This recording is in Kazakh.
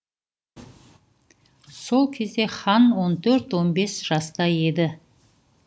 сол кезде хан он төрт он бес жаста еді